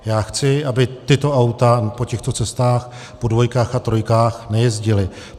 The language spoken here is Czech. Já chci, aby tato auta po těchto cestách, po dvojkách a trojkách, nejezdila.